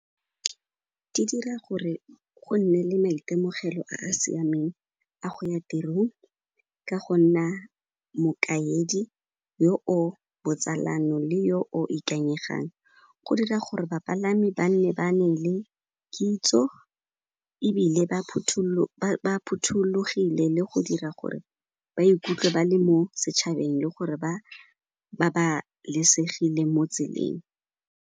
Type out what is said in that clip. Di dira gore go nne le maitemogelo a a siameng a go ya tirong ka go nna mokaedi yo o botsalano le yo o ikanyegang. Go dira gore bapalami ba nne ba nne le kitso ebile ba phuthollogile le go dira gore ba ikutlwe ba le mo setšhabeng le gore ba babalesegile mo tseleng.